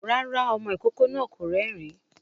Rárá, ọmọ ìkókó náà kò rérìn-ín